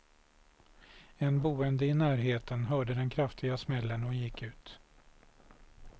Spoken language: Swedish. En boende i närheten hörde den kraftiga smällen och gick ut.